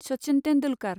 Sachin Tendulkar